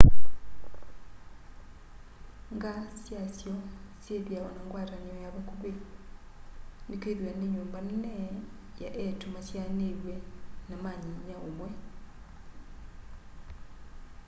nga syasyo syithiawa na ngwatanio ya vakuvi ni kwithiwa ni nyumba nene ya eitu masyaaniw'e na ma nyinya umwe